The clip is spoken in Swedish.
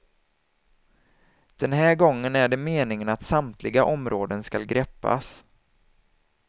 Den här gången är det meningen att samtliga områden skall greppas.